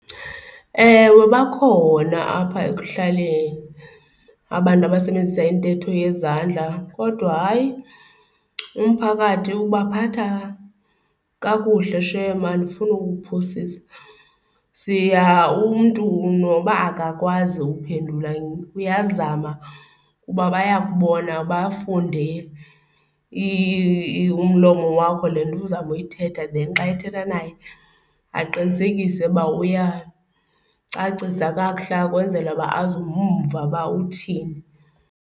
Ewe, bakhona apha ekuhlaleni abantu abasebenzisa intetho yezandla kodwa hayi, umphakathi ubaphatha kakuhle shem andifuni ukuphosisa. Umntu noba akakwazi ukuphendula uyazama kuba bayakubona bafunde umlomo wakho le nto uzawube uyithetha then xa ethetha naye aqinisekise uba uyacacisa kakuhle ukwenzela uba azomva uba uthini.